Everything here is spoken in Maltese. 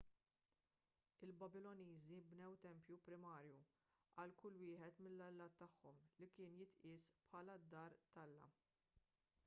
il-babiloniżi bnew tempju primarju għal kull wieħed mill-allat tagħhom li kien jitqies bħala d-dar tal-alla